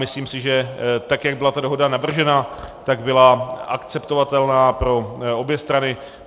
Myslím si, že tak jak byla ta dohoda navržena, tak byla akceptovatelná pro obě strany.